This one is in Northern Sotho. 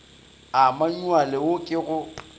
a manyuale wo ke go